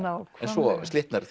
en svo slitnar